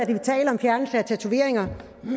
vi talte om fjernelse af tatoveringer